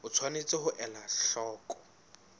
o tshwanetse ho ela hloko